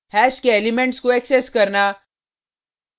hash के elements को access करना